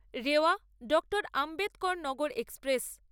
Rewa Dr Ambedkarnagar express